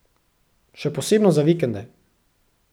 Še posebno za vikende.